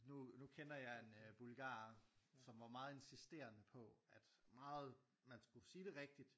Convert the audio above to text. Nu nu kender jeg en øh bulgarer som var meget insisterende på at meget man skulle sige det rigtigt